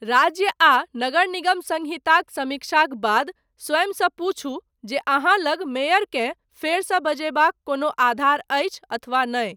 राज्य आ नगर निगम सङ्हिताक समीक्षाक बाद, स्वयंसँ पूछू, जे अहाँ लग, मेयरकेँ फेरसँ बजयबाक कोनो आधार अछि अथवा नहि।